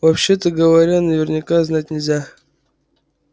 вообще-то говоря наверняка знать нельзя